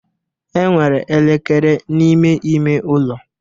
Enwere elekere n'ime ime ụlọ